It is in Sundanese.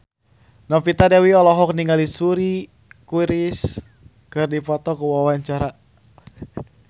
Novita Dewi olohok ningali Suri Cruise keur diwawancara